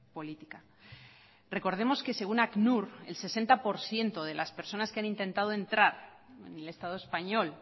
política recordemos que según acnur el sesenta por ciento de las personas que han intentado entrar en el estado español